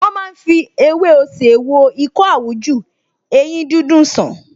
Wọ́n máa ń fi ewé osè wo ikọ́ àwújù, eyín dídùn sàn